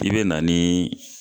I be na nii